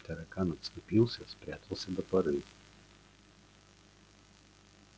таракан отступился спрятался до поры